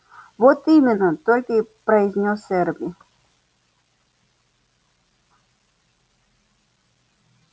вот именно только и произнёс эрби